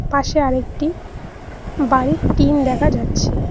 পাশে আরেকটি বাড়ির টিন দেখা যাচ্ছে।